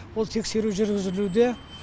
ол тексеру жүргізілуде